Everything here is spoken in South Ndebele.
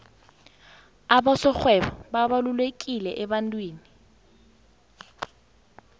abasorhwebo babalulekileemnothweni